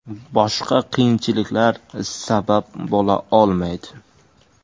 Boshqa qiyinchiliklar sabab bo‘la olmaydi.